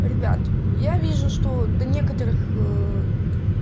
ребят я вижу что до некоторых